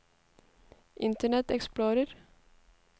internet explorer